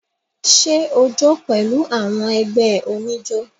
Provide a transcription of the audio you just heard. Ṣẹ o jó pẹ̀lú àwọn ẹgbẹ́ oníjó?